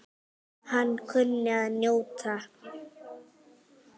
Hann kunni að njóta.